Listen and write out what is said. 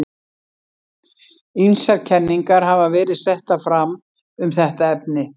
Ýmsar kenningar hafa verið settar fram um þetta efni.